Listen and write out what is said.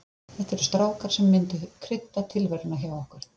Þetta eru strákar sem myndu krydda tilveruna hjá okkur.